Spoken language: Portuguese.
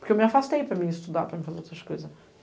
Porque eu me afastei para eu estudar, para eu fazer outras coisas.